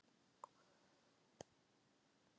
Gaui, einhvern tímann þarf allt að taka enda.